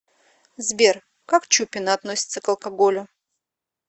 сбер как чупина относится к алкоголю